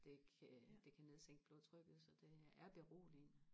det kan det kan nedsænke blodtrykket så det er beroligende